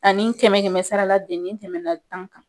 Ani kɛmɛ kɛmɛ sara la tɛmɛna tan kan.